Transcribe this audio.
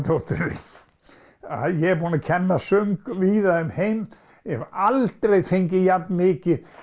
dóttir þín ég er búin að kenna söng víða en ég hef aldrei fengið jafn mikið